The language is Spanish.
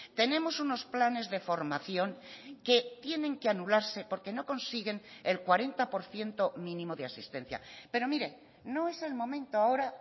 tenemos unos planes de formación que tienen que anularse porque no consiguen el cuarenta por ciento mínimo de asistencia pero mire no es el momento ahora